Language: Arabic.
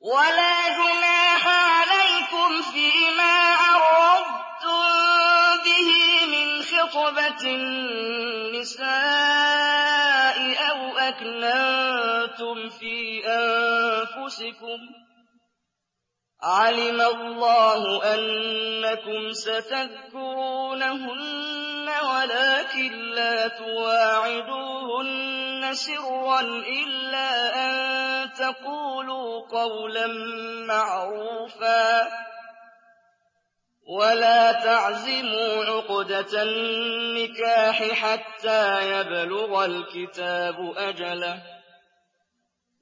وَلَا جُنَاحَ عَلَيْكُمْ فِيمَا عَرَّضْتُم بِهِ مِنْ خِطْبَةِ النِّسَاءِ أَوْ أَكْنَنتُمْ فِي أَنفُسِكُمْ ۚ عَلِمَ اللَّهُ أَنَّكُمْ سَتَذْكُرُونَهُنَّ وَلَٰكِن لَّا تُوَاعِدُوهُنَّ سِرًّا إِلَّا أَن تَقُولُوا قَوْلًا مَّعْرُوفًا ۚ وَلَا تَعْزِمُوا عُقْدَةَ النِّكَاحِ حَتَّىٰ يَبْلُغَ الْكِتَابُ أَجَلَهُ ۚ